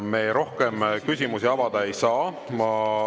Me rohkem küsimusi avada ei saa.